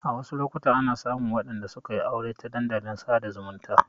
A wasu lokutan ana samun waɗanda sukayi aure ta dandalin sada zumunta